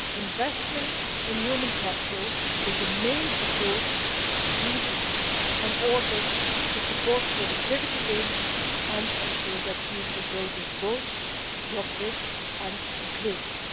Investment in human capital is the main approach needed in order to support productivity gains and ensure that future growth is both job rich and inclusive.